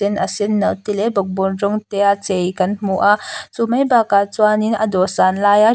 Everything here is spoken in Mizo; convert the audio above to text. tin a senno te leh bawkbawn rawng te a chei kan hmu a chu mai bakah chuanin a dawhsan laia --